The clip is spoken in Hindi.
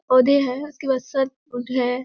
पौधे है उसके बाद है।